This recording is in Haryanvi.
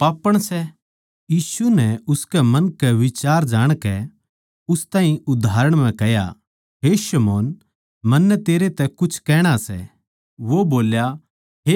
यीशु नै उसके मन के बिचार जाणकै उस ताहीं उदाहरण म्ह कह्या हे शमौन मन्नै तेरै तै कुछ कहणा सै वो बोल्या हे गुरू कह